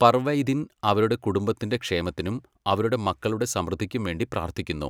പർവൈതിൻ അവരുടെ കുടുംബത്തിൻ്റെ ക്ഷേമത്തിനും അവരുടെ മക്കളുടെ സമൃദ്ധിക്കും വേണ്ടി പ്രാർത്ഥിക്കുന്നു.